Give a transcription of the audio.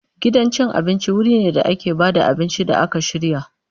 Gidan cin abinci wuri ne da ake ba da abinci da aka shirya.